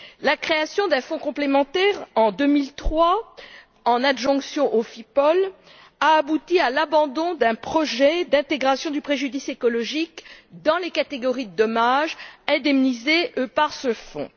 La création d'un fonds complémentaire en 2003, qui s'ajoute au FIPOL, a abouti à l'abandon d'un projet d'intégration du préjudice écologique dans les catégories de dommages indemnisés par ce fonds.